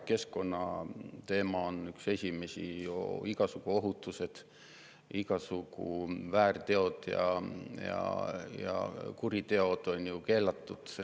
Keskkonnateema on üks esimesi asju; igasugu ohutused; igasugu väärteod ja kuriteod on ju keelatud.